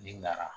N'i nana